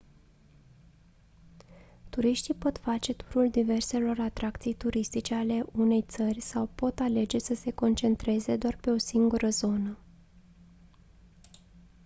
turiștii pot face turul diverselor atracții turistice ale unei țări sau pot alege să se concentreze doar pe o singură zonă